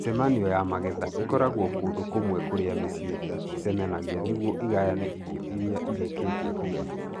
Mĩcemanio ya magetha ĩkoragwo kũndũ kũmwe kũrĩa mĩciĩ ĩcemanagia nĩguo ĩgayane irio iria irĩkĩtie kũgethwo.